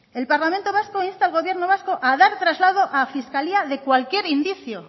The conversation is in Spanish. el parlamento vasco insta al gobierno vasco a dar traslado a fiscalía de cualquier indicio